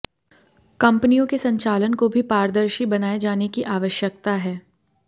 कंपनियों के संचालन को भी पारदर्शी बनाए जाने की आवयकता है